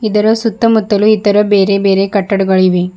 ಇದರ ಸುತ್ತ ಮುತ್ತಲು ಇತರ ಬೇರೆ ಬೇರೆ ಕಟ್ಟಡಗಳಿವೆ.